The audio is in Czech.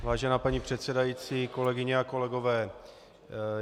Vážená paní předsedající, kolegyně a kolegové.